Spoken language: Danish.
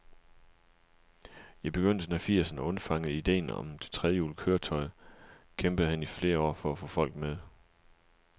I begyndelsen af firserne undfangede ideen om det trehjulede køretøj, kæmpede han i flere år for at få folk med.